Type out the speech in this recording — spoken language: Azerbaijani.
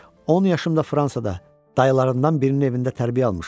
On yaşımda Fransada, dayılarından birinin evində tərbiyə almışam.